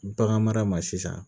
Bagan mara ma sisan